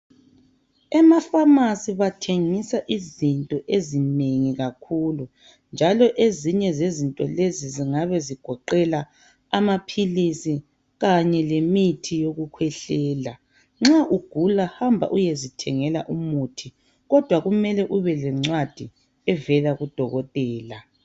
Emafamasi bathengisa izinto ezinengi kakhulu. Njalo ezinye zezinto lezi zingabe zigoqela amaphilisi kanye lemithi yokukhwehlela. Nxa ugula hamba uyezithengela umuthi kodwa kumele ubelencwadi evela kudokotela.